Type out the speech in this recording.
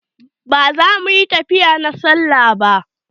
Ba za su yi tafiya na sallah ba.